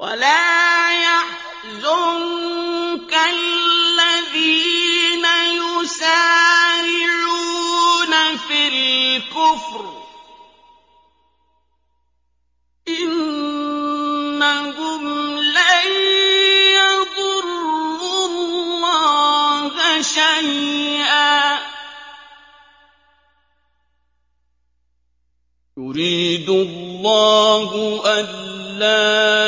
وَلَا يَحْزُنكَ الَّذِينَ يُسَارِعُونَ فِي الْكُفْرِ ۚ إِنَّهُمْ لَن يَضُرُّوا اللَّهَ شَيْئًا ۗ يُرِيدُ اللَّهُ أَلَّا